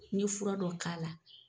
N ye fura dɔ k'a la.